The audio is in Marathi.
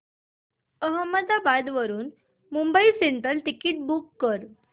अहमदाबाद वरून मुंबई सेंट्रल टिकिट बुक कर